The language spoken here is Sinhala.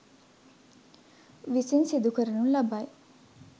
විසින් සිදු කරනු ලබයි.